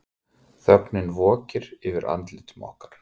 Þögnin vokir yfir andlitum okkar.